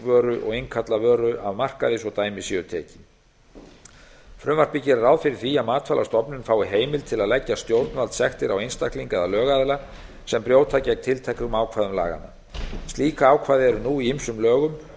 vöru og innkalla vöru af markaði svo dæmi séu tekin frumvarpið gerir ráð fyrir því að matvælastofnun fái heimild til að leggja stjórnvaldssektir á einstakling eða lögaðila sem brjóta gegn tilteknum ákvæðum laganna slík ákvæði eru nú í ýmsum lögum